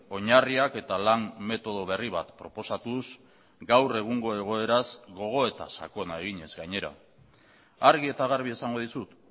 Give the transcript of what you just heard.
oinarriak eta lan metodo berri bat proposatuz gaur egungo egoeraz gogoeta sakona eginez gainera argi eta garbi esango dizut